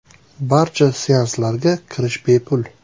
Barcha seanslarga kirish bepul.